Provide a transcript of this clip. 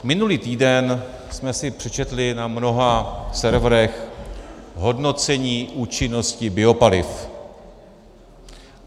Minulý týden jsme si přečetli na mnoha serverech hodnocení účinnosti biopaliv.